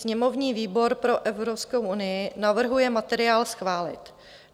Sněmovní výbor pro Evropskou unii navrhuje materiál schválit.